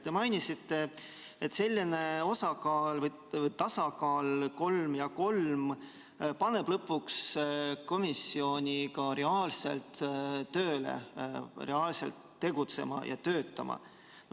Te mainisite, et selline tasakaal, kolm ja kolm, paneb lõpuks komisjoni ka reaalselt tööle, reaalselt tegutsema ja töötama.